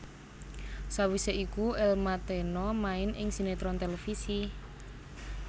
Sawisé iku Elma Thena main ing sinetron televisi